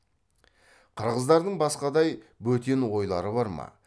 қырғыздардың басқадай бөтен ойлары бар ма